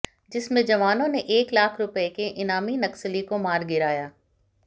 जिसमें जवानों ने एक लाख रुपए के इनामी नक्सली को मार गिराया